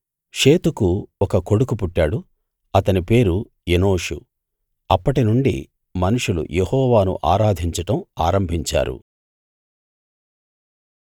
షేతుకు ఒక కొడుకు పుట్టాడు అతని పేరు ఎనోషు అప్పటినుండి మనుషులు యెహోవాను ఆరాధించడం ఆరంభించారు